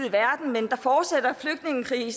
i